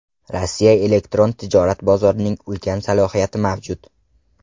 Rossiya elektron tijorat bozorining ulkan salohiyati mavjud.